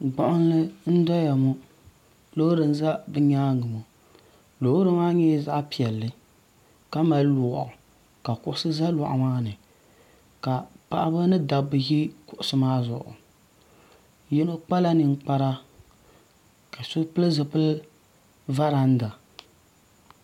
gbuɣunli nyɛla doya ŋo loori n ʒɛ bi nyaangi ŋo loori maa nyɛla zaɣ piɛlli ka mali loɣu ka kuɣusi ʒɛ loɣu maa ni ka paɣaba ni dabba ʒi loɣu maa zuɣu yino kpala ninkpara ka yino pili zipili varanda